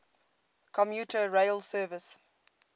commuter rail service